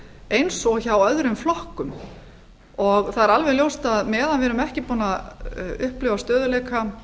eins og hjá öðrum flokkum það er alveg ljóst að meðan við erum ekki búin að upplifa stöðugleika